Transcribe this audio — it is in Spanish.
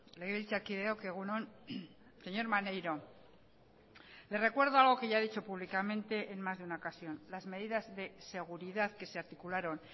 legebiltzarkideok egun on señor maneiro le recuerdo algo que ya he dicho públicamente en más de una ocasión las medidas de seguridad que se articularon